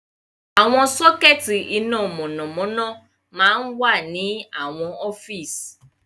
Àwọn sockets iná mọ̀nàmọ́ná máa ń wà ní àwọn ọ́fíìsì.